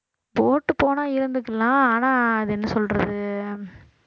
போட்டு போனா இருந்துக்கலாம் ஆனா அது என்ன சொல்றது